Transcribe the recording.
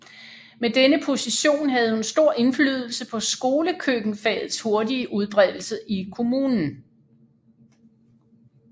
Med denne position havde hun stor indflydelse på skolekøkkenfagets hurtige udbredelse i kommunen